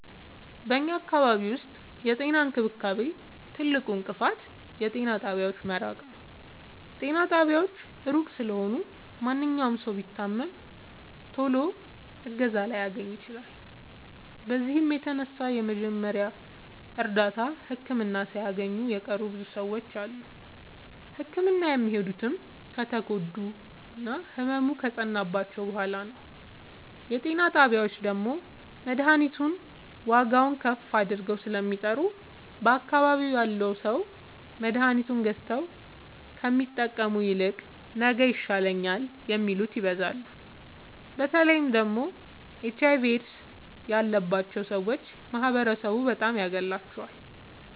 በኛ አካባቢ ዉስጥ የጤና እንክብካቤ ትልቁ እንቅፋት የጤና ጣቢያዎች መራቅ ነዉ። ጤና ጣቢያዎች እሩቅ ስለሆኑ ማንኛዉም ሠዉ ቢታመም ቶሎ እገዛ ላያገኝ ይችላል። በዚህም የተነሣ የመጀመሪያ እርዳታ ህክምና ሣያገኙ የቀሩ ብዙ ሰዎች አሉ። ህክምና የሚሄዱትም ከተጎዱና ህመሙ ከፀናባቸዉ በሗላ ነዉ። የጤና ጣቢያዎች ደግሞ መድሀኒቱን ዋጋዉን ከፍ አድርገዉ ስለሚጠሩ በአካባቢዉ ያሉ ሠዎች መድሀኒት ገዝተዉ ከሚጠቀሙ ይልቅ ነገ ይሻለኛል የሚሉት ይበዛሉ። በተለይ ደግሞ ኤች አይቪ ኤድስ ያባቸዉ ሠዎች ማህበረሡ በጣም ያገላቸዋል።